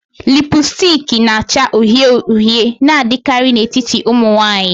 Lipusticki na-acha uhie uhie na-adịkarị n'etiti ụmụ nwanyị.